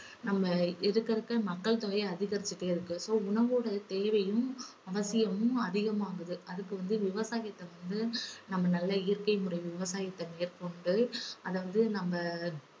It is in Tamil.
நம்ம இருக்க இருக்க மக்கள் தொகை அதிகரிச்சுட்டே இருக்கு so உணவோட தேவையும் அவசியமும் அதிகமாகுது அதுக்கு வந்து விவசாயத்தை வந்து நம்ம நல்ல இயற்கை முறை விவசாயத்தை மேற்கொண்டு அதை வந்து நம்ம